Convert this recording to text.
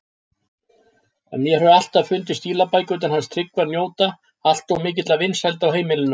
En mér hefur alltaf fundist stílabækurnar hans Tryggva njóta alltof mikilla vinsælda á heimilinu.